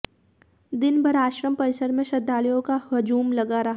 दिन भर आश्रम परिसर में श्रद्धालुओं का हजूम लगा रहा